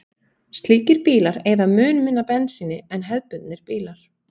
Slíkir bílar eyða mun minna bensíni en hefðbundnir bílar.